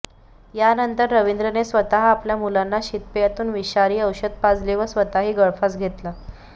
यानंतर रवींद्रने स्वतः आपल्या मुलांना शीतपेयातून विषारी औषध पाजले व स्वतःही गळफास घेतला